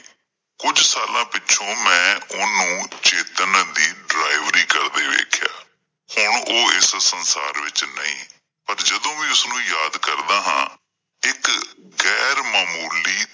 ਕੁਝ ਸਾਲਾ ਪਿੱਛੋਂ ਮੈਂ ਉਹ ਨੂੰ ਚੇਤਨ ਦੀ delivery ਕਰਦੇ ਵੇਖਿਆ ਹੁਣ ਉਹ ਇਸ ਸੰਸਾਰ ਵਿੱਚ ਨਹੀਂ ਪਰ ਜਦੋਂ ਵੀ ਉਸ ਨੂੰ ਯਾਦ ਕਰਦਾ ਹਾਂ ਇੱਕ ਗੈਰ-ਮਾਮੂਲੀ